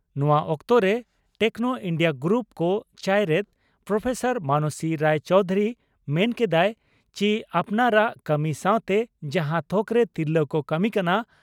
ᱱᱚᱣᱟ ᱚᱠᱛᱚᱨᱮ Techno India group ᱠᱚ ᱪᱟᱭᱨᱮᱛ ᱯᱨᱚᱯᱷᱮᱥᱚᱨ ᱢᱟᱱᱚᱥᱤ ᱨᱟᱭ ᱪᱚᱣᱫᱷᱩᱨᱤ ᱢᱮᱱ ᱠᱮᱫᱼᱟ ᱪᱤ ᱟᱯᱱᱟᱨᱟᱜ ᱠᱟᱹᱢᱤ ᱥᱟᱶᱛᱮ ᱡᱟᱦᱟᱸ ᱛᱷᱚᱠᱨᱮ ᱛᱤᱨᱞᱟᱹ ᱠᱚ ᱠᱟᱹᱢᱤ ᱠᱟᱱᱟ